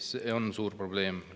See on suur probleem.